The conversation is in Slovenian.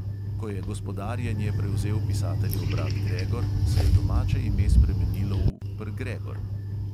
Ko je gospodarjenje prevzel pisateljev brat gregor, se je domače ime spremenilo v "pr" gregor".